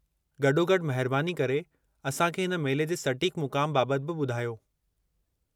गॾोगॾु, महिरबानी करे असां खे हिन मेले जे सटीकु मुक़ामु बाबति बि ॿुधायो।